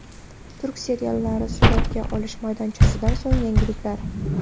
Turk seriallari suratga olish maydonchasidan so‘nggi yangiliklar.